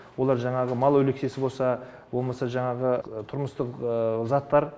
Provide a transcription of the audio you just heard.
олар жаңағы мал өліксесі болса болмаса жаңағы тұрмыстық заттар